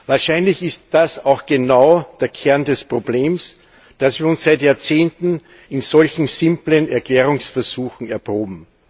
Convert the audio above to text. Wahrscheinlich ist das auch genau der Kern des Problems dass wir uns seit Jahrzehnten in solch simplen Erklärungsversuchen erproben.